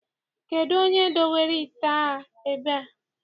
Kedụ onye dowere ite a ebe a?